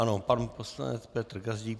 Ano, pan poslanec Petr Gazdík.